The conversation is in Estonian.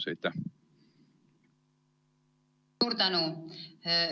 Suur tänu!